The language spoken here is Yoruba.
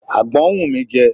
Àgbọn ń wù mí jẹ.